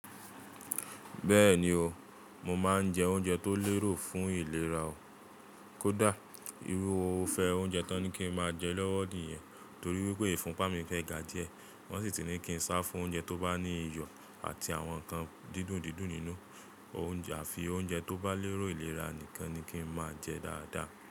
Bẹ́ẹ̀ni o, mo máa ń jẹ oúnjẹ tó lérò fún ìlera o. Kódà, irúfẹ́ oúnjẹ tó ní kí n máa jẹ lọ́wọ́ nìyẹn torí wípé ìfúnpá mi fẹ́ ga díẹ̀. Wọ́n sì ti ní kí n sá fún oúnjẹ tó bá ní iyọ̀ àti àwọn ǹkan dídùn dídùn nínú àfi oúnjẹ tó bá l'érò ìlera nìkan ni kí n máa jẹ dáadáa.